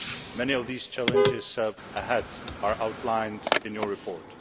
to do. Many of these challenges ahead are outlined in your report.